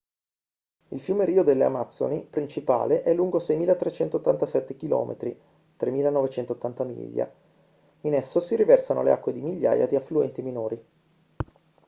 il fiume rio delle amazzoni principale è lungo 6.387 km 3.980 miglia. in esso si riversano le acque di migliaia di affluenti minori